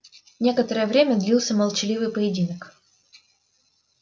некоторое время длился молчаливый поединок